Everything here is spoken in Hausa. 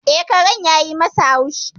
E, karen yayi masa haushi.